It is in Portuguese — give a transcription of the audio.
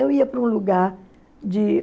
Eu ia para um lugar de